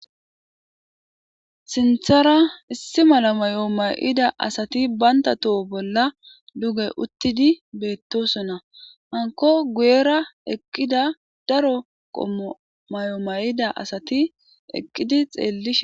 Sinthara issi mala may'o may'ida asati baynta toho bolla duge uttidi beettosona hanko guyera eqqida daro qommo may'o may'ida asati eqqidi xeelli.